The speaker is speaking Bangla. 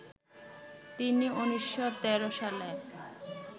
তিনি ১৯১৩ সালে